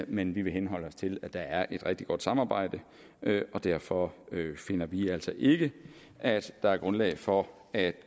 men vi vil henholde os til at der er et rigtig godt samarbejde og derfor finder vi altså ikke at der er grundlag for at